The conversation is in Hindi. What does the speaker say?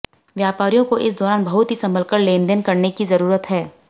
व्यापारियों को इस दौरान बहुत ही संभलकर लेनदेन करने की जरूरत है